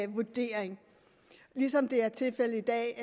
vurdering ligesom det er tilfældet i dag